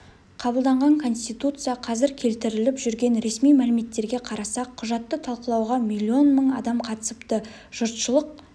қабылданған конституция қазір келтіріліп жүрген ресми мәліметтерге қарасақ құжатты талқылауға млн мың адам қатысыпты жұртшылық